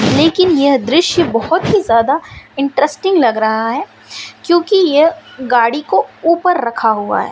लेकिन यह दृश्य बहुत ही ज्यादा इंटरेस्टिंग लग रहा है क्योंकि यह गाड़ी को ऊपर रखा हुआ है।